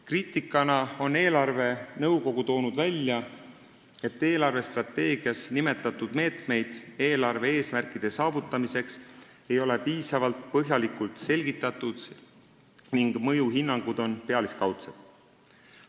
Kriitikana on eelarvenõukogu välja toonud, et eelarvestrateegias nimetatud meetmeid eelarve eesmärkide saavutamiseks ei ole piisavalt põhjalikult selgitatud ning mõjuhinnangud on pealiskaudsed.